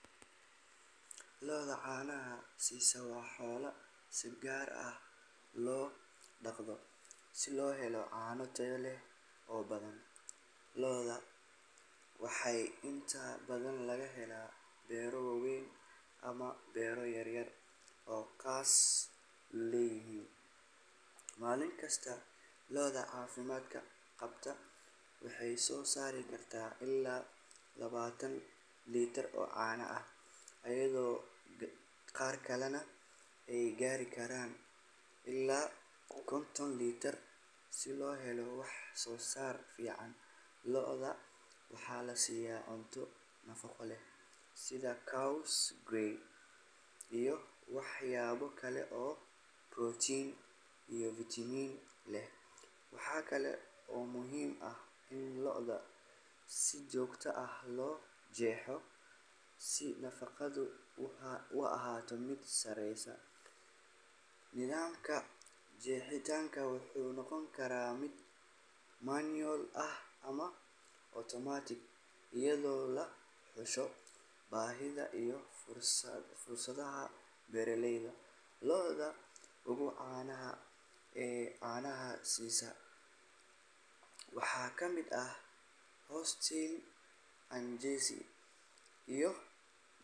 Lo’da caanaha siisa waa xoolo si gaar ah loo dhaqdo si loo helo caano tayo leh oo badan. Lo'dan waxaa inta badan laga helaa beero waaweyn ama beero yaryar oo qoysas leeyihiin. Maalin kasta, lo’da caafimaad qabta waxay soo saari kartaa ilaa labaatan litir oo caano ah, iyadoo qaar kalena ay gaari karaan ilaa konton litir. Si loo helo wax-soo-saar fiican, lo’da waxaa la siiyaa cunto nafaqo leh, sida caws, galley iyo waxyaabo kale oo protein iyo vitamin leh. Waxa kale oo muhiim ah in lo’da si joogto ah loo jeexo si nadaafaddu u ahaato mid sarreysa. Nidaamka jeexitaanka wuxuu noqon karaa mid manual ah ama automatic, iyadoo laga xusho baahida iyo fursadaha beeraleyda. Lo’da ugu caansan ee caanaha siisa waxaa ka mid ah Holstein, Jersey, iyo.